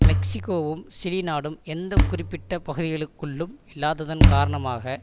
மெக்சிகோவும் Chile நாடும் எந்த குறிப்பிட்ட பகுதிக்குழுக்குள்ளும் இல்லாததன் காரணமாக